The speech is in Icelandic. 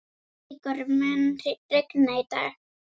Ígor, mun rigna í dag?